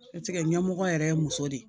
ɲɛmɔgɔ yɛrɛ ye muso de ye